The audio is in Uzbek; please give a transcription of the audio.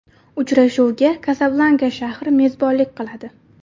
Uchrashuvga Kasablanka shahri mezbonlik qiladi.